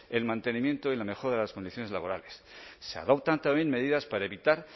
el mantenimiento y la mejora de las condiciones laborales se adoptan también medidas para evitar